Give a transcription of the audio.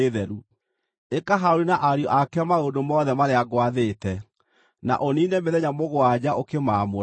“Ĩka Harũni na ariũ ake maũndũ mothe marĩa ngwathĩte, na ũniine mĩthenya mũgwanja ũkĩmaamũra.